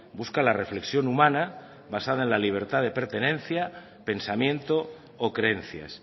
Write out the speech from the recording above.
busca la reflexión humana basada en la libertad de pertenencia pensamiento o creencias